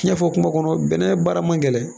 Cɛn fɔ kuma kɔnɔ bɛnnɛ baara man gɛlɛn.